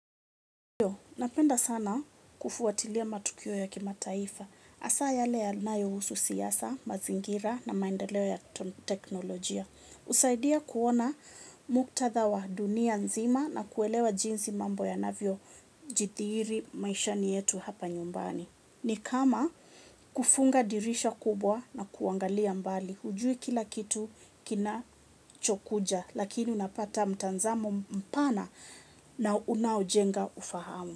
Napenda sana kufuatilia matukio ya kima taifa. Asa yale ya nayo husu siyasa, mazingira na maendeleo ya teknolojia. Usaidia kuona muktadha wa dunia nzima na kuelewa jinsi mambo yanavyo jithiiri maishani yetu hapa nyumbani. Ni kama kufunga dirisha kubwa na kuangalia mbali. Ujui kila kitu kinacho kuja lakini unapata mtazamo mpana na unaojenga ufahamu.